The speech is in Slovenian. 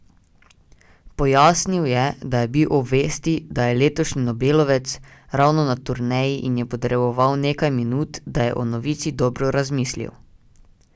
Pojasnil je, da je bil ob vesti, da je letošnji Nobelovec, ravno na turneji in je potreboval nekaj minut, da je o novici dobro razmislil.